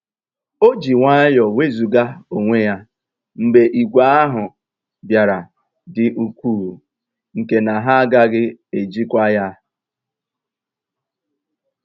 O jì nwayọ́ọ́ nwézugà onwé ya mgbe ìgwè ahụ́ bìàra dị́ ùkwuù nkè na ha àgàghị́ èjìkwa ya.